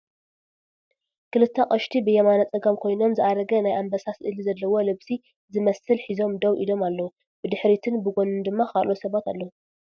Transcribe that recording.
ክልተ አቅሽቲ ብየማነ ፀጋም ኮይኖም ዝአረገ ናይ አንበሳ ስእሊ ዘለዎ ልብሲ ስመስል ሒዞም ደው እሎም አለዉ፡፡ ብድሕሪትን ብጎንን ድማ ካልኦት ሰባት አለዉ፡፡